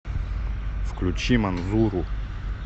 включи манзуру